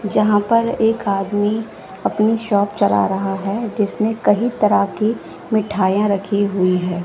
जहां पर एक आदमी अपनी शॉप चला रहा है जिसे कहीं तरह की मिठाइयां रखी हुई है।